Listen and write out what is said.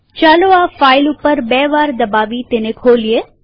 ચાલો આ ફાઈલ ઉપર બે વાર દબાવી તેને ખોલીએ